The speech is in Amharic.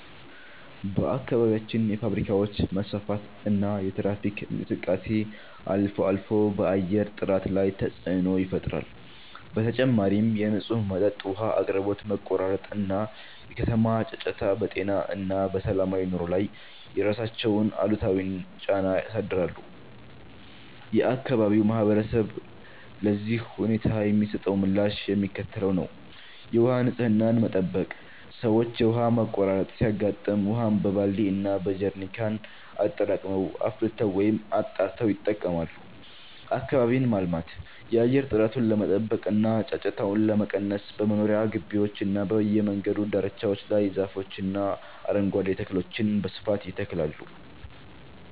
በአካባቢያችን የፋብሪካዎች መስፋፋትና የትራፊክ እንቅስቃሴ አልፎ አልፎ በአየር ጥራት ላይ ተፅዕኖ ይፈጥራል። በተጨማሪም የንጹህ መጠጥ ውሃ አቅርቦት መቆራረጥ እና የከተማ ጫጫታ በጤና እና በሰላማዊ ኑሮ ላይ የራሳቸውን አሉታዊ ጫና ያሳድራሉ። የአካባቢው ማህበረሰብ ለዚህ ሁኔታ የሚሰጠው ምላሽ የሚከተለው ነው፦ የውሃ ንፅህናን መጠበቅ፦ ሰዎች የውሃ መቆራረጥ ሲያጋጥም ውሃን በባልዲ እና በጀሪካን አጠራቅመው፣ አፍልተው ወይም አጣርተው ይጠቀማሉ። አካባቢን ማልማት፦ የአየር ጥራቱን ለመጠበቅ እና ጫጫታውን ለመቀነስ በመኖሪያ ግቢዎችና በየመንገዱ ዳርቻዎች ላይ ዛፎችንና አረንጓዴ ተክሎችን በስፋት ይተክላሉ።